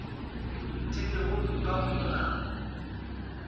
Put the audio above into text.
di lego ka go molao